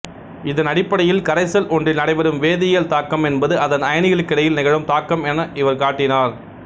இதன் அடிப்படையில் கரைசல் ஒன்றில் நடைபெறும் வேதியியல் தாக்கம் என்பது அதன் அயனிகளுக்கிடையில் நிகழும் தாக்கம் என் இவர் காட்டினார்